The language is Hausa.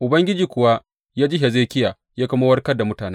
Ubangiji kuwa ya ji Hezekiya ya kuma warkar da mutane.